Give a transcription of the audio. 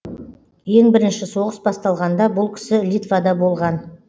ең бірінші соғыс басталғанда бұл кісі литвада болған